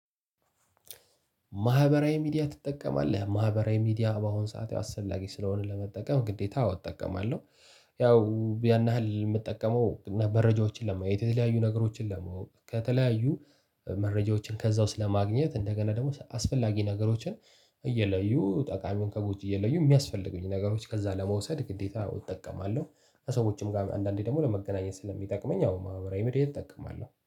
ማህበራዊ ሚዲያ ትጠቀማለህ? ማህበራዊ ሚዲያ በአሁን ሰዓት አስፈላጊ ስለሆነ ለመጠቀም ግዴታ አዎ እጠቀማለሁ። ያው ያን ያህል ምጠቀመው እና መረጃዎችን ለማየት፣ የተለያዩ ነገሮችን ለማወቅ፣ ከተለያዩ መረጃዎችን ከዛ ውስጥ ለማግኘት፣ እንደገና ደግሞ አስፈላጊ ነገሮችን እየለዩ ጠቃሚውን ከቦት እየለዩ ሚያስፈልጉኝ ነገሮች ከዛ ለመውሰድ ግዴታ እጠቀማለሁ። ከሰዎችም ጋር አንዳንዴ ደግሞ ለመገናኘት ስለሚጠቅመኝ አዎ ማህበራዊ ሚዲያ እጠቀማለሁ።